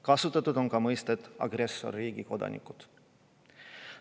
Kasutatud on ka mõistet "agressorriigi kodanikud".